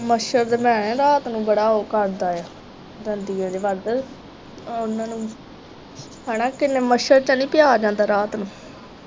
ਮੱਛਰ ਤੇ ਰਾਤ ਨੂੰ ਬੜਾ ਉਹ ਕਰਦਾ ਐ ਦੰਦਿਆਂ ਜੇ ਵੜਦਾ ਤੇ ਉਹਨਾਂ ਨੂੰ ਹਣਾ ਕਿੰਨਾ ਮੱਛਰ ਚ ਨੀ ਪਿਆ ਜਾਂਦਾ ਰਾਤ ਨੂੰ